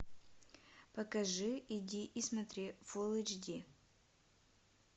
покажи иди и смотри фулл эйч ди